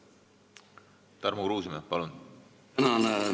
Tarmo Kruusimäe, palun!